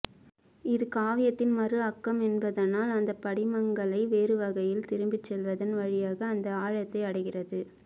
இது காவியத்தின் மறு ஆக்கம் என்பதனால் அந்தப்படிமங்களை வேறுவகையில் திரும்பிச் சொல்வதன் வழியாக அந்த ஆழத்தை அடைகிறது